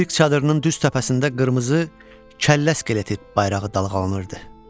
Sirk çadırının düz təpəsində qırmızı kəllə skeleti bayrağı dalğalanırdı.